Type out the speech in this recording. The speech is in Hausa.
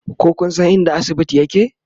ko Kun San inda asibiti yake?